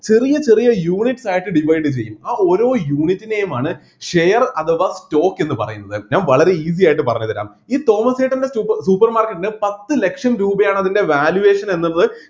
ചെറിയ ചെറിയ unit ആയിട്ട് divide ചെയ്യും ആ ഓരോ unit നെയുമാണ് share അഥവാ stock എന്ന് പറയുന്നത് ഞാൻ വളരെ easy ആയിട്ട് പറഞ്ഞുതരാം ഈ തോമസ് ചേട്ടൻ്റെ സുപ് supermarket ന് പത്ത് ലക്ഷം രൂപയാണ് അതിൻ്റെ valuation എന്നത്